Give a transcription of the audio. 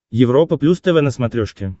европа плюс тв на смотрешке